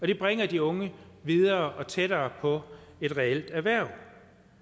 det bringer de unge videre og tættere på et reelt erhverv